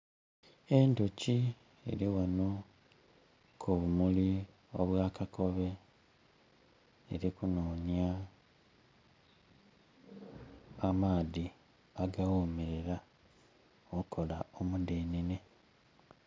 Endhoki eri ghano ku bumuli obwa kakobe eli ku nonya amaadhi aga ghomerera okola omudenene.